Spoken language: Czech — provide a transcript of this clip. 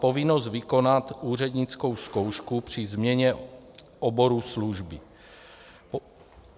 Povinnost vykonat úřednickou zkoušku při změně oboru služby.